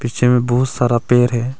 Picture में बहुत सारा पेर है।